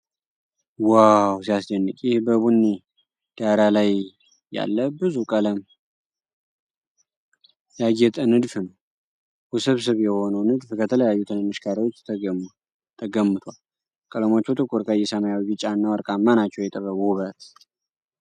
ዋው ሲያስደንቅ! ይህ በቡኒ ዳራ ላይ ያለ በብዙ ቀለም ያጌጠ ንድፍ ነው። ውስብስብ የሆነው ንድፍ ከተለያዩ ትንንሽ ካሬዎች ተገምቷል። ቀለሞቹ ጥቁር ቀይ፣ ሰማያዊ፣ ቢጫና ወርቃማ ናቸው። የጥበብ ውበት!